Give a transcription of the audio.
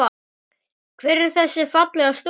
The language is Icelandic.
Hver er þessi fallega stúlka?